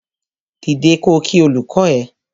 Dìde ko kí olùkọ ẹ!